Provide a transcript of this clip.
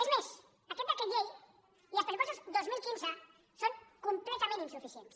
és més aquest decret llei i els pressupostos dos mil quinze són completament insuficients